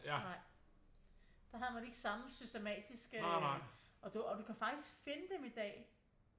Nej der havde man ikke samme systematiske og du kan faktisk finde dem i dag